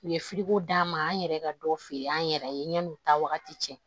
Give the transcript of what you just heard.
U ye d'a ma an yɛrɛ ka dɔ feere an yɛrɛ ye yann'u ta wagati cɛ